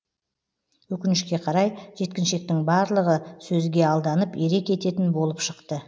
өкінішке қарай жеткіншектің барлығы сөзге алданып ере кететін болып шықты